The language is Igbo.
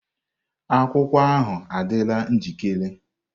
Akwụkwọ ahu adịla njikere.